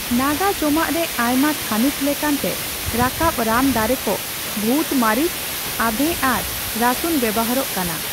ᱱᱟᱜᱟ ᱡᱚᱢᱟᱜᱼᱨᱮ ᱟᱭᱢᱟ ᱛᱷᱟᱹᱱᱤᱛ ᱞᱮᱠᱟᱱᱛᱮ ᱨᱟᱠᱟᱵᱚᱺ ᱨᱟᱱ ᱫᱟᱨᱮᱠᱚ, ᱵᱷᱩᱛ ᱢᱟᱨᱤᱪ, ᱟᱫᱷᱮ ᱟᱨ ᱨᱟᱹᱥᱩᱱ ᱵᱮᱣᱦᱟᱨᱚᱜ ᱠᱟᱱᱟ ᱾